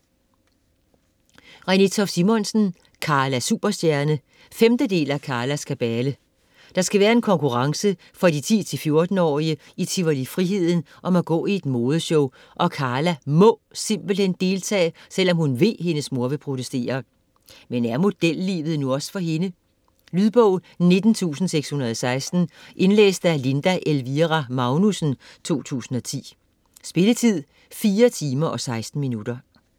Toft Simonsen, Renée: Karla superstjerne 5. del af Karlas kabale. Der skal være en konkurrence for de 10-14-årige i Tivoli Friheden om at gå i et modeshow, og Karla må simpelthen deltage, selvom hun ved, hendes mor vil protestere. Men er modellivet nu også for hende? Lydbog 19616 Indlæst af Linda Elvira Magnussen, 2010. Spilletid: 4 timer, 16 minutter.